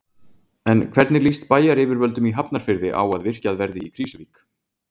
En hvernig líst bæjaryfirvöldum í Hafnarfirði á að virkjað verði í Krýsuvík?